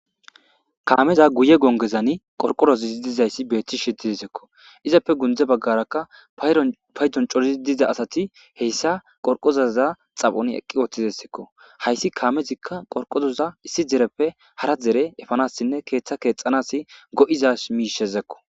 Kaameza guye gongezani qorqorozizi dizayssi beetthi shididisekko izappe gundze baggarakka paydon corizi diza asati heyssa qorqozaza xaphoni eqqi ooththizesekko hayssi kaamezikka qorqozoza issi dereppe hara dere efanassinne keeththa keexxanasi go'iza miishezekko.